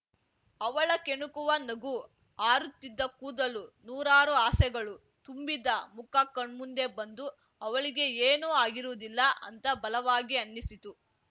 ಅವಳ ಕೆಣಕುವ ನಗು ಹಾರುತ್ತಿದ್ದ ಕೂದಲು ನೂರಾರು ಆಸೆಗಳು ತುಂಬಿದ ಮುಖ ಕಣ್ಮುಂದೆ ಬಂದು ಅವಳಿಗೆ ಏನೂ ಆಗಿರುವುದಿಲ್ಲ ಅಂತ ಬಲವಾಗಿ ಅನ್ನಿಸಿತು